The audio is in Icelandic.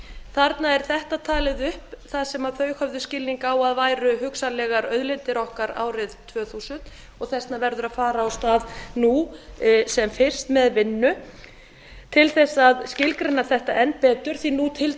þarna er þetta talið upp það sem þau höfðu skilning á að væri hugsanlegar auðlindir okkar árið tvö þúsund og þess vegna verður að fara af stað nú sem fyrst með vinnu til að skilgreina þetta enn betur því nú til